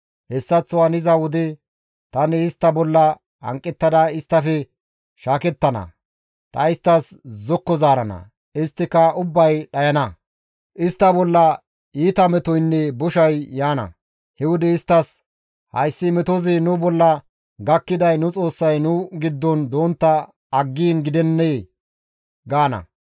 Hessaththo haniza wode tani istta bolla hanqettada isttafe shaakettana; ta isttas zokko zaarana; isttika ubbay dhayana; istta bolla iita metoynne boshay yaana; he wode isttas, ‹Hayssi metozi nu bolla gakkiday nu Xoossay nu giddon dontta aggiin gidennee?› gaana.